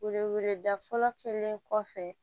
Weleweledafɔlɔ kɛlen kɔfɛ